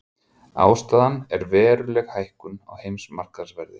Ástæðan er veruleg hækkun á heimsmarkaðsverði